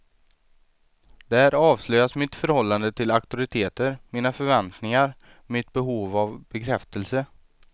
Där avslöjas mitt förhållande till auktoriteter, mina förväntningar, mitt behov av bekräftelse.